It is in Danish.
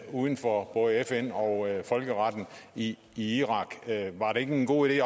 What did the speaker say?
uden for både fn og folkeretten i irak var det ikke en god idé